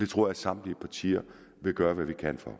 tror at samtlige partier vil gøre hvad de kan for